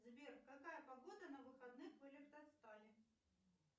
сбер какая погода на выходных в электростали